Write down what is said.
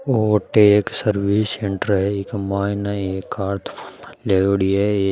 ओ अटे एक service centre है इके मायने एक कार है।